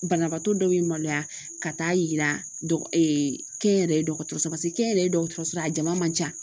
Banabaatɔ dɔw ye maloya ka taa yira kɛnyɛrɛye dɔgɔtɔrɔso kɛnyɛrɛye dɔgɔtɔrɔso a jama man jan